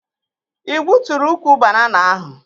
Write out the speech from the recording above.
Ị gbuturu ukwu banana ahụ?